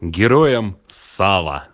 героям сала